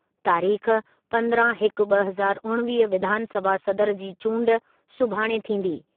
तारीख़ पंद्रहं हिकु ॿ हज़ार उणिवीह विधानसभा सदर जी चूंडु सुभाणे थींदी।